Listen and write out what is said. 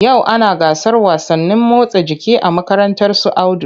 Yau ana gasar wasannin motsa jiki a makarantar su Audu.